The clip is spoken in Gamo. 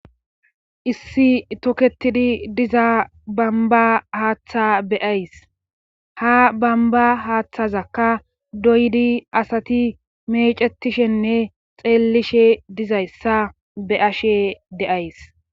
Issi toketidi diza bamba haaththa beyays ha bamba haaththazakka doydi asati mecetishenne xeellishe dizayssa be ashe deays.